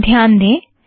यहाँ ध्यान दें